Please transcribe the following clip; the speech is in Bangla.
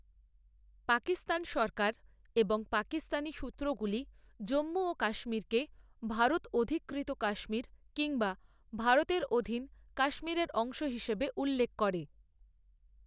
পাকিস্তান সরকার এবং পাকিস্তানি সূত্রগুলি জম্মু ও কাশ্মীরকে ভারত অধিকৃত কাশ্মীর কিংবা ভারতের অধীন কাশ্মীরের অংশ হিসাবে উল্লেখ করে।